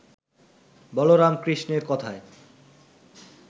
বলরাম কৃষ্ণের কথায়